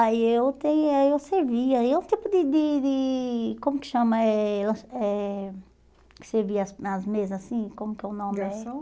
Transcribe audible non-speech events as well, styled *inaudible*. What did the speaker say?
Aí eu tem aí eu servia, aí um tipo de de de, como que chama, eh *unintelligible* eh que servia as nas mesas assim, como que o nome é? Garçom